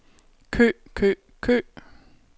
kø kø kø